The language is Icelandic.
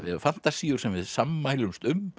fantasíur sem við sammælumst um